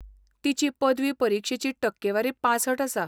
तिची पदवी परिक्षेची टक्केवारी पांसठ आसा.